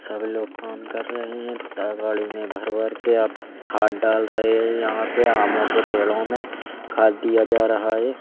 सब लोग काम कर रहे हैं दागाड़ी में भर भर के आप खाद डाल रहे हैं यहाँ पे आमों के पेड़ों में खाद दिया जा रहा है।